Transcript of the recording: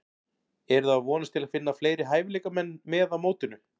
Eruði að vonast til að finna fleiri hæfileikamenn með á mótinu?